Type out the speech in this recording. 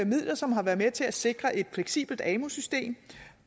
midler som har været med til at sikre et fleksibelt amu system